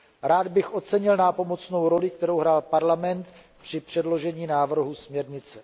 Rád bych ocenil nápomocnou roli, kterou hrál Parlament při předložení návrhu směrnice.